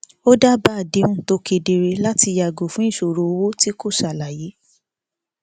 ó dábàá àdéhùn tó kedere láti yàgò fún ìṣòro owó tí kò ṣàlàyé